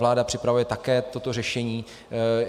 Vláda připravuje také toto řešení.